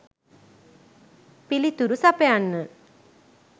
පිළිතුරු සපයන්න.